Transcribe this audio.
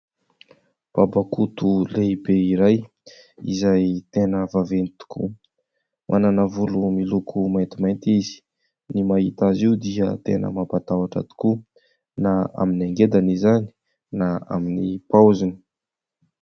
Babakoto lehibe iray izay tena vaventy tokoa. Manana volo miloko maintimainty izy. Ny mahita azy io dia mampatahotra tokoa na amin'ny angedany izany na amin'ny paoziny.